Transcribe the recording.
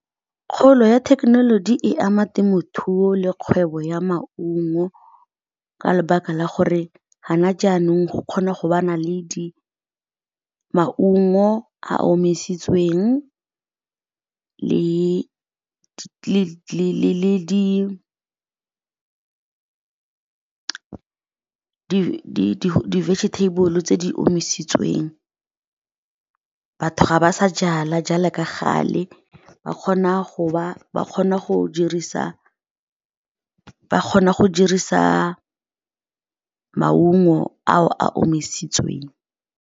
Kgolo ya thekenoloji e ama temothuo le kgwebo ya maungo ka lebaka la gore ga jaana go kgona go ba le maungo a a omisitsweng, le di-vegetable tse di omisitsweng. Batho ga ba sa jala ka gale, ba kgona go dirisa maungo ao a omisitsweng.